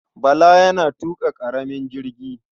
Bala yana tuƙa ƙaramin jirgi.